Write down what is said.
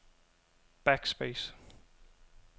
backspace